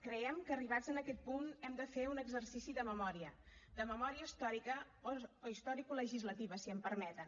creiem que arribats a aquest punt hem de fer un exercici de memòria de memòria històrica o historicolegislativa si em permeten